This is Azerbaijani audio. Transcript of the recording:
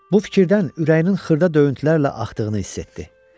Bu fikirdən ürəyinin xırda döyüntülərlə axdığını hiss etdi.